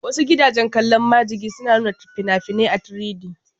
Wasu gidajen kallon majigi suna nuna fina-finai a 3D